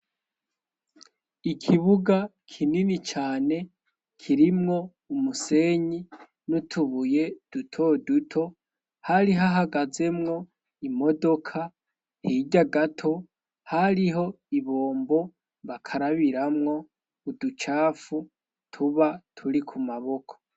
Ikibuga kinini cane kirimwo umusenyi n'utubuye dutoduto, hari hahagazemwo imodoka hirya gato ,hariho ibombo bakarabiramwo uducafu tuba turi ku maboko.